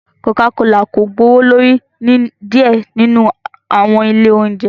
Coca Cola ko gbowolori ni diẹ ninu awọn ile ounjẹ